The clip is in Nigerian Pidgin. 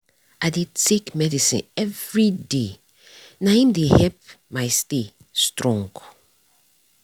i dey take medicine everyday nah im dey help my stay strong.